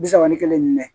Bi saba ni kelen ni